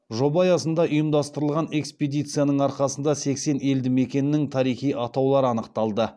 жоба аясында ұйымдастырылған экспедицияның арқасында сексен елді мекеннің тарихи атаулары анықталды